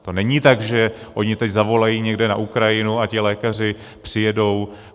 To není tak, že oni teď zavolají někde na Ukrajinu a ti lékaři přijedou.